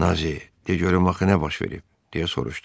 Nazi, de görüm axı nə baş verib? deyə soruşdu.